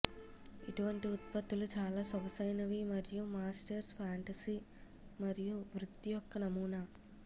ఇటువంటి ఉత్పత్తులు చాలా సొగసైనవి మరియు మాస్టర్స్ ఫాంటసీ మరియు వృత్తి యొక్క నమూనా